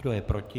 Kdo je proti?